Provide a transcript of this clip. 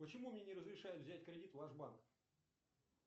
почему мне не разрешает взять кредит ваш банк